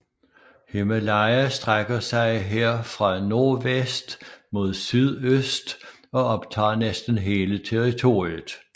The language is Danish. Himalaya strækker sig her fra nordvest mod sydøst og optager næsten hele territoriet